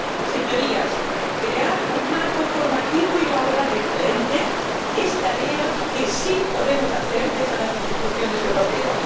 Señorías, crear un marco formativo y laboral excelente es tarea que sí podemos hacer desde las instituciones europeas.